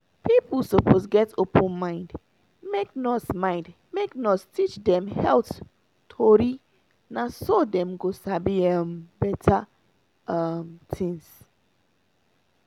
people suppose get open mind make nurse mind make nurse teach dem health tori na so dem go sabi um better um things.